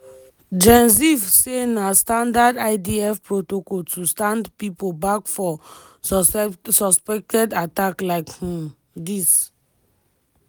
gen ziv say na standard idf protocol to stand pipo back for suspected attacks like um dis